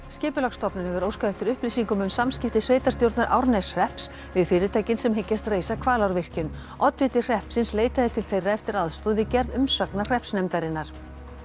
Skipulagsstofnun hefur óskað eftir upplýsingum um samskipti sveitarstjórnar Árneshrepps við fyrirtækin sem reisa Hvalárvirkjun oddviti hreppsins leitaði til þeirra eftir aðstoð við gerð umsagnar hreppsnefndarinnar